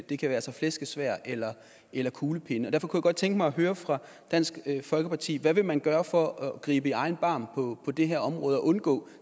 det kan være til flæskesvær eller eller kuglepenne derfor kunne jeg godt tænke mig at høre fra dansk folkeparti hvad vil man gøre for at gribe i egen barm på det her område og undgå